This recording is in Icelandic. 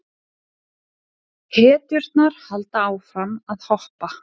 Hetjurnar halda áfram að hoppa.